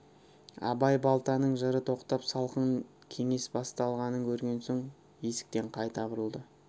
абай балтаның жыры тоқтап салқын кеңес басталғанын көрген соң есіктен қайта бұрылды